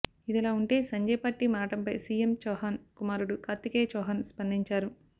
ఇదిలా ఉంటే సంజయ్ పార్టీ మారడంపై సీఎం చౌహన్ కుమారుడు కార్తికేయ చౌహన్ స్పందించారు